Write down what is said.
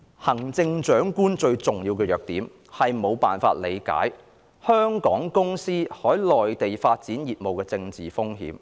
"行政長官最嚴重的弱點在於無法理解香港公司在內地開展業務的政治風險"。